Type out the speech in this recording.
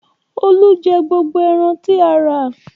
Olú jẹ gbogbo ẹran tí a rà.